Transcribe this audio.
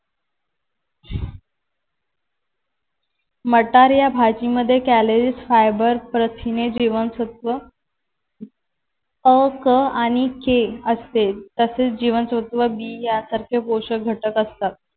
मटार या भाजीमध्ये कॅलरीज फायबर प्रथिने जीवनसत्व अ, क आणि के असते तसेच जीवनसत्व बी यासारखे पोषक घटक असतात.